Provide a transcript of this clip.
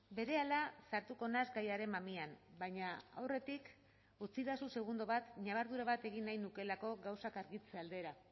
berehala sartuko naiz gaiaren mamian baina aurretik utzidazu segundo bat ñabardura bat egin nahi nukeelako gauzak argitze aldera